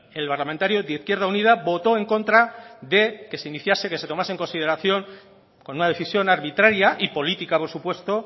el parlamentario de izquierda unida votó en contra de que se iniciase que se tomase en consideración con una decisión arbitraria y política por supuesto